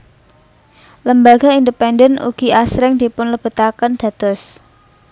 Lembaga independen ugi asring dipunlebetaken dados